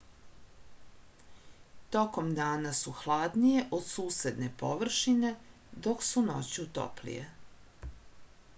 tokom dana su hladnije od susedne površine dok su noću toplije